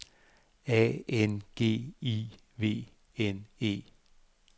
A N G I V N E